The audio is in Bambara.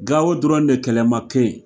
Gawo dɔrɔn de kɛlɛ ma kɛ yen,